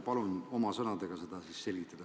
Palun oma sõnadega seda selgitada.